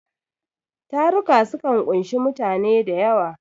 Taruka sukan ƙunshi mutane da yawa.